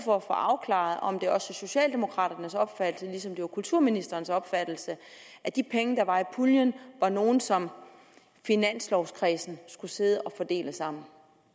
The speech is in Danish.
for at få afklaret om det også er socialdemokraternes opfattelse ligesom det var kulturministerens opfattelse at de penge der var i puljen var nogle som finanslovkredsen skulle sidde og fordele sammen